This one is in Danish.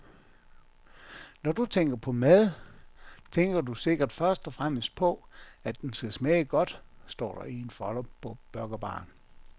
Når du tænker på mad, tænker du sikkert først og fremmest på, at den skal smage godt, står der i en folder på burgerbaren.